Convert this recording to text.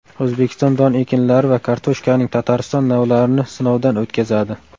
O‘zbekiston don ekinlari va kartoshkaning Tatariston navlarini sinovdan o‘tkazadi.